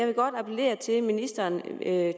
vil godt appellere til at ministeren